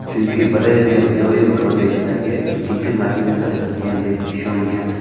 Chunki Brejnev doim kortejidagi ikkinchi mashinada o‘tirgan deb ishongan.